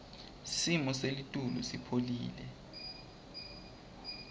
simo selitulu sipholile